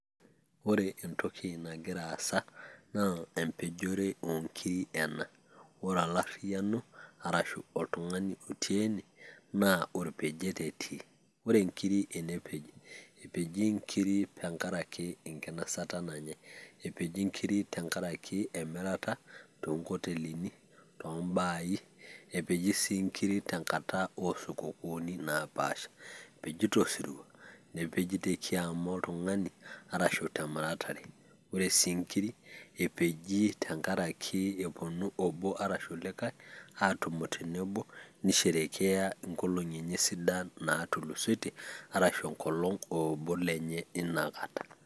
ore entoki nagira aasa, naa epejore o nkiri ena ore olariyiano arashu oltung'ani otii ene naa empejore etii. ore nkiri enepeji, epeji nkiri tenkaraki enkinosata nanyae..epeji nkiri tenkaraki emirata oo nkotelini too baai, epeji sii kiri tenkata oosukukuuni naapaasha, epeji tosirua, nepeji te kiama oltung'ani, arashu temuratare, ore sii nkiri epeji tenkaraki epuonu obo arashu likae aatumo tenebo, ni sherekea inkolong''i enye sidan natum arashu enkolong' ee obo lenye leina kata.